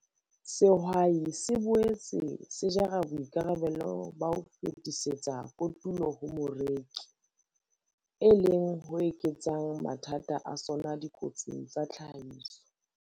Sehwai se boetse se jara boikarabelo ba ho fetisetsa kotulo ho moreki, e leng ho eketsang mathata a sona dikotsing tsa tlhahiso.